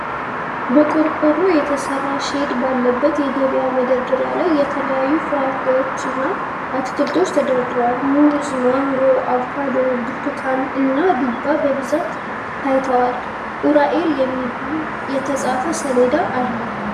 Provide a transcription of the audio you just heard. በቆርቆሮ የተሰራ ሼድ ባለበት የገበያ መደርደሪያ ላይ የተለያዩ ፍራፍሬዎችና አትክልቶች ተደርድረዋል። ሙዝ፣ ማንጎ፣ አቮካዶ፣ ብርቱካን እና ዱባ በብዛት ታይተዋል። ኡራኤል በሚል የተጻፈ ሰሌዳ አለ።